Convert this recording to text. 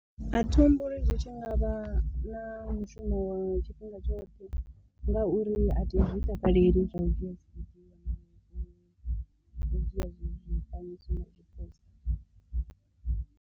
A thi humbuli zwi tshi nga vha na mushumo wa tshifhinga tshoṱhe, ngauri a thi zwi takaleli zwa u dzhia tshi zwifanyiso ndi tshi post.